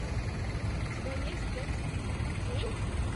у тебя есть секс после детей